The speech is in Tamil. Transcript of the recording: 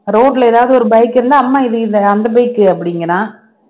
road ல ஏதாவது ஒரு bike இருந்தா அம்மா இது இது அந்த bike அ அப்படிங்கறான்